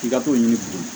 K'i ka t'o ɲini bi